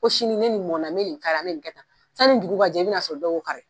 Ko sini ne ni mɔn bɛ kari, an bɛ nin kɛtan. San ni dugu jɛ i bɛ na sɔrɔ dɔ yo kari.